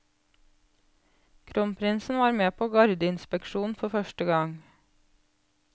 Kronprinsen var med på gardeinspeksjon for første gang.